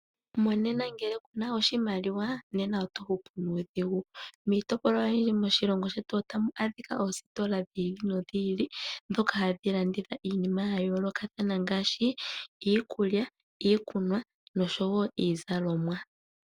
Monena ngele ku na oshimaliwa, nena oto hupu nuudhigu. Miitopolwa oyindji moshilongo shetu otamu adhika oositola dhi ili nodhi ili, ndhoka hadhi landitha iinima ya yoolokathana ngaashi iikulya, iikunwa nosho wo iizalomwa.